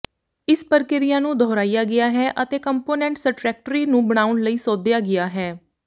ਇਸ ਪ੍ਰਕਿਰਿਆ ਨੂੰ ਦੁਹਰਾਇਆ ਗਿਆ ਹੈ ਅਤੇ ਕੰਪੋਨੈਂਟ ਸਟਰੈਕਟਰੀ ਨੂੰ ਬਣਾਉਣ ਲਈ ਸੋਧਿਆ ਗਿਆ ਹੈ